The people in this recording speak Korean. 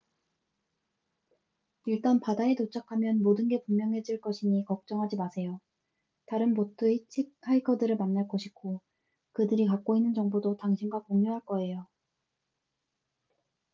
일단 바다에 도착하면 모든 게 분명해질 것이니 걱정하지 마세요 다른 보트 히치하이커들을 만날 것이고 그들이 갖고 있는 정보도 당신과 공유할 거에요